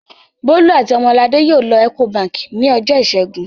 Bólú àti Ọmọladé yóò lọ Ecobank ní ọjọ́ ìṣẹ́gun.